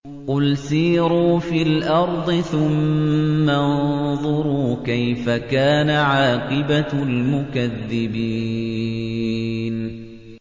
قُلْ سِيرُوا فِي الْأَرْضِ ثُمَّ انظُرُوا كَيْفَ كَانَ عَاقِبَةُ الْمُكَذِّبِينَ